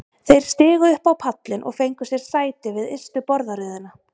Þeir stigu upp á pallinn og fengu sér sæti við ystu borðaröðina.